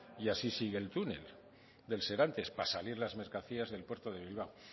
y así sigue el túnel del serantes para salir las mercancías del puerto de bilbao